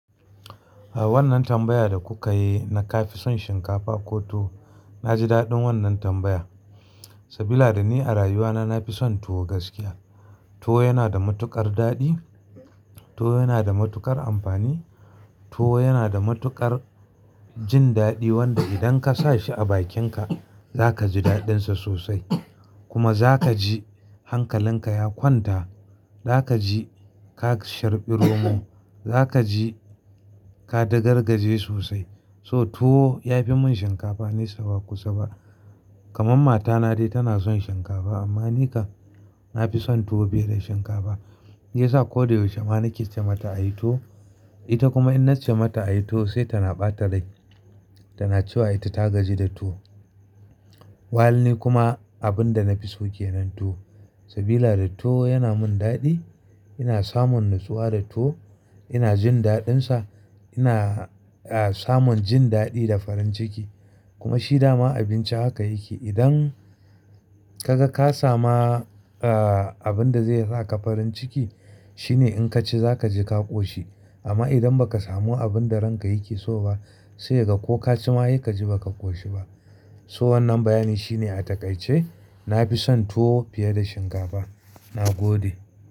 A wannan tambaya da kuka yi na ka fi son shinkafa ko tuwo, na ji daɗin wannan tambaya. Sabila da ni a rayuwana na fi son tuwo gaskiya. Tuwo yana da matuƙar daɗi, tuwo yana da matuƙar amfani, tuwo yana da matuƙar jin daɗi wanda idan ka sa shi a bakinka za ka ji daɗinsa sosai. Kuma za ka ji hankalinka ya kwanta, za ka ji ka sharɓi romo, za ka ji ka dagar gaje sosai. So tuwo ya fi mun shinkafa nisa ba kusa ba. Kaman matana dai tana son shinkafa amma ni kan na fi son tuwo fiye da shinkafa. Me yasa? Ko da yaushe ma na ke ce mata a yi tuwo, ita kuma in na ce mata a yi tuwo sai tana ɓata rai tana cewa ita ta gaji da tuwo. Walni kuma abin da na fi so ke nan tuwo. Sabila da tuwo yana min daɗi, ina samun natsuwa da tuwo, ina jin daɗinsa, ina, ah, samun jin daɗi da farin ciki. Kuma shi dama abinci haka yake. Idan ka ga ka sama, ah, abin da zai sa ka farin ciki shine in ka ci za ka je ka ƙoshi. Amma idan ba ka samu abin da ranka yake so ba sai ka ga ko ka ci ma sai ka ji ba ka ƙoshi ba. So wannan bayani shine a takaice na fi son tuwo fiye da shinkafa. Na gode.